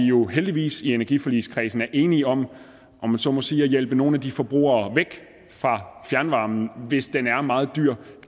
jo heldigvis i energiforligskredsen er enige om om man så må sige at hjælpe nogle af de forbrugere væk fra fjernvarmen hvis den er meget dyr